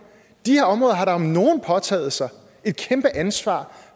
de her områder har da om nogen påtaget sig et kæmpe ansvar